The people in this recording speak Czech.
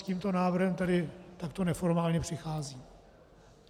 S tímto návrhem tedy takto neformálně přicházím.